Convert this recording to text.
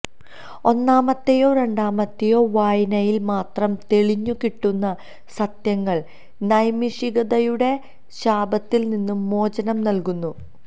ഒന്നാമത്തെയോ രണ്ടാമത്തെയോ വായനയിൽ മാത്രം തെളിഞ്ഞു കിട്ടുന്ന സത്യങ്ങൾ നൈമിഷികതയുടെ ശാപത്തിൽനിന്ന് മോചനം നൽകുന്നു